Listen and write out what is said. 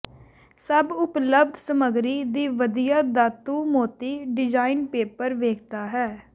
ਸਭ ਉਪਲੱਬਧ ਸਮੱਗਰੀ ਦੀ ਵਧੀਆ ਧਾਤੂ ਮੋਤੀ ਡਿਜ਼ਾਇਨ ਪੇਪਰ ਵੇਖਦਾ ਹੈ